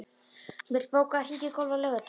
Mjöll, bókaðu hring í golf á laugardaginn.